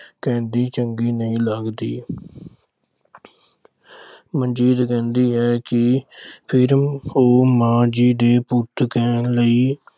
ਕਹਿੰਦੀ ਚੰਦੀ ਨਹੀਂ ਲੱਗਦੀ। ਮਨਜੀਤ ਕਹਿੰਦੀ ਹੈ ਕਿ ਫਿਰ ਉਹ ਮਾਂ ਜੀ ਦੇ ਪੁੱਤ ਕਹਿਣ ਲਈ